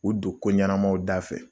U don ko ɲɛnɛmaw dafɛ